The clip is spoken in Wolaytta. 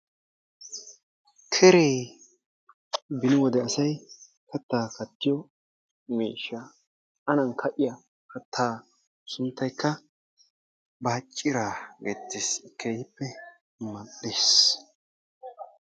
Keree, beni wode asay kattaa kattiyo miishshaa, anan kaa'iya kattaa sunttaykka bacciiraa geettees, keehippe mal'ees.